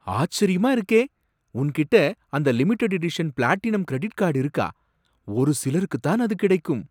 ஆச்சரியமா இருக்கே! உன்கிட்ட அந்த limited edition platinum credit card இருக்கா? ஒரு சிலருக்கு தான் அது கிடைக்கும்.